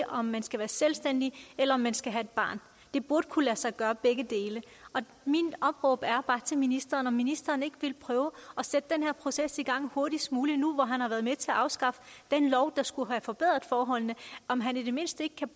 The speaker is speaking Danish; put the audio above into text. om man skal være selvstændig eller om man skal have et barn det burde kunne lade sig gøre med begge dele mit opråb til ministeren om ministeren ikke vil prøve at sætte denne proces i gang hurtigst muligt nu hvor han har været med til at afskaffe den lov der skulle have forbedret forholdene om han i det mindste ikke kan